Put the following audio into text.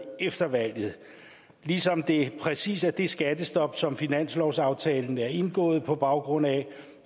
efter valget ligesom det præcis er det skattestop som finanslovsaftalen er indgået på baggrund af